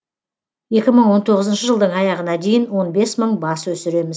екі мың он тоғызыншы жылдың аяғына дейін он бес мың бас өсіреміз